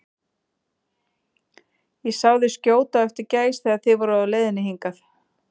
Ég sá þig skjóta á eftir gæs, þegar þið voruð á leiðinni hingað